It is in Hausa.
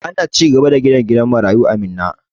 Ana cigaba da ginin gidan marayu a Minna.